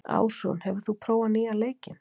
Ásrún, hefur þú prófað nýja leikinn?